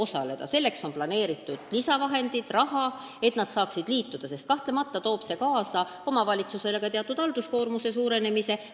Selleks, et nad saaksid liituda, on planeeritud lisavahendid, raha, sest kahtlemata toob see omavalitsusele kaasa teatud halduskoormuse suurenemise.